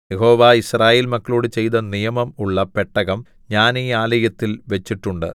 യഹോവ യിസ്രായേൽ മക്കളോടു ചെയ്ത നിയമം ഉള്ള പെട്ടകം ഞാൻ ഈ ആലയത്തിൽ വെച്ചിട്ടുണ്ട്